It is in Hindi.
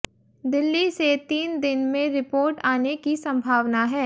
दिल्ली से तीन दिन में रिपोर्ट आने की संभावना है